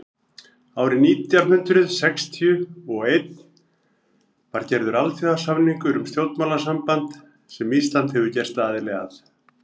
árið nítján hundrað sextíu og einn var gerður alþjóðasamningur um stjórnmálasamband sem ísland hefur gerst aðili að